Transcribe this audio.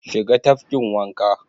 Shiga tafkin wanka!